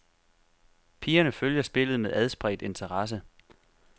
Pigerne følger spillet med adspredt interesse.